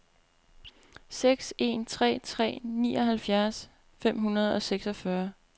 seks en tre tre nioghalvtreds fem hundrede og seksogfyrre